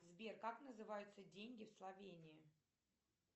сбер как называются деньги в словении